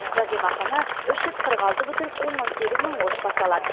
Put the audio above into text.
жәрдемақыны үш жүз қырық алты бүтін оннан сегіз мың отбасы алады